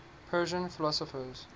persian philosophers